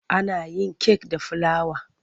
Ana yin kek da filawa.